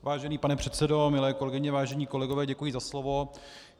Vážený pane předsedo, milé kolegyně, vážení kolegové, děkuji za slovo.